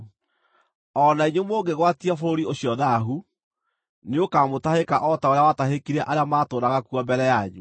O na inyuĩ mũngĩgwatia bũrũri ũcio thaahu, nĩũkamũtahĩka o ta ũrĩa watahĩkire arĩa maatũũraga kuo mbere yanyu.